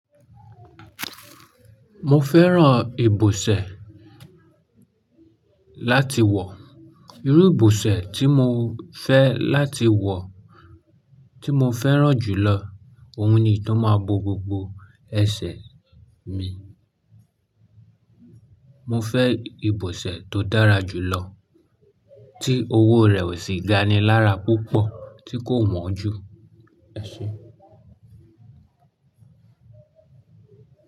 Mo fẹ́ran ìbọsẹ̀ láti wọ̀. Irú ìbọsẹ̀ tí mo fẹ́ láti wọ̀, tí mo fẹ́ran jùlọ, òun ni tó máa bo gbogbo ẹsẹ̀ mi. Mo fẹ́ ìbọsẹ̀ tó dára jùlọ, tí owó rẹ̀ sì ga ni lára púpọ̀, tí kò wọ́n jù. E Ṣé?